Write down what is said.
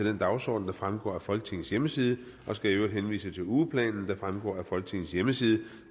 den dagsorden der fremgår af folketingets hjemmeside og skal i øvrigt henvise til ugeplanen der fremgår af folketingets hjemmeside